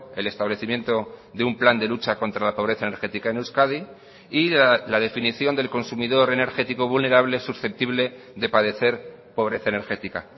el establecimiento de un plan de lucha contra la pobreza energética en euskadi y la definición del consumidor energético vulnerable susceptible de padecer pobreza energética